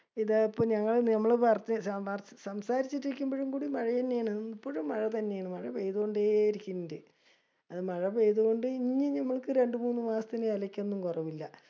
ഇതാ ഇപ്പൊ ഞങ്ങള് നമ്മള് വർ സംസാരിച്ചിട്ടിരിക്കുംബിഴുംകൂടി മഴയെന്നയാണ്. എപ്പഴും മഴതന്നെയാണ്. മഴ പെയ്തൊണ്ടേ ഇരിക്കിണ്ട്. അത് മഴ പെയ്തോണ്ട് ഇനി ഞമ്മൾക്ക്‌ രണ്ടു മൂന്ന് മാസത്തിനു എലക്കൊനും കുറവില്ല.